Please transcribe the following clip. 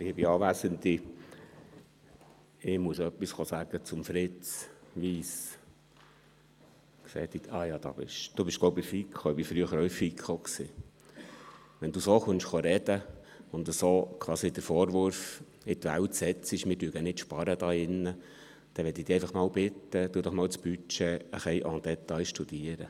Wenn Sie so sprechen wie vorhin und quasi den Vorwurf in die Welt setzen, wir hier würden nicht sparen, dann möchte ich Sie doch bitten, das Budget en détail zu studieren.